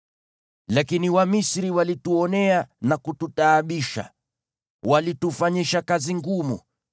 Lakini Wamisri walituonea na kututaabisha, wakitufanyisha kazi ngumu.